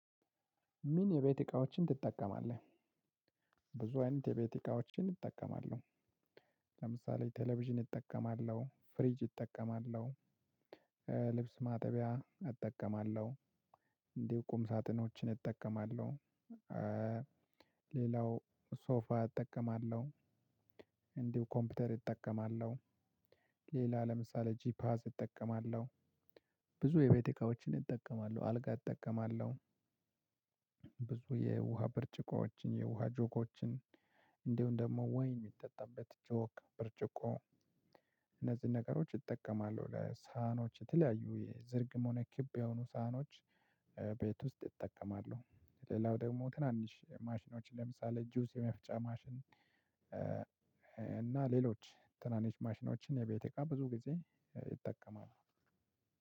ምን የቤት እቃዎችን ትጠቀማለህ? ብዙ አይነት የቤት እቃዎችን እጠቀማለሁ። ለምሳሌ ቴሌቪዥን እጠቀማለሁ ፍሪጅ እጠቀማለሁ። ልብስ ማጠቢያ እጠቀማለሁ። እንዲሁ ቁም ሳጥኖችን እጠቀማለሁ። ሌላው ሶፋ እጠቀማለሁ። እንዲሁ ኮምፒውተር እጠቀማለሁ። ሌላ ለምሳሌ ጂፓስ እጠቀማለሁ። ብዙ የቤት እቃዎችን እጠቀማለሁ አልጋ እጠቀማለሁ። ብዙ የውሃ ብርጭቆዎችን የውሃ ጆጎችን እንዲሁም ደግሞ ወይን የሚጠጣበት ጆግ ብርጭቆ። እነዚህን ነገሮች እጠቀማለሁ ለሳህኖች የተለያዩ የዝርግም ሆነ ኪብ የሆኑ ሳህኖች ቤት ውስጥ እጠቀማለሁ። ሌላው ደግሞ ትናንሽ ማሽኖች ለምሳሌ ጁዝ የመፍጫ ማሽን። እና ሌሎች ትናንሽ ማሽኖችን የቤት እቃ ብዙ ጊዜ እጠቀማለሁ።